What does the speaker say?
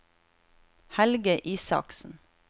Helge Isaksen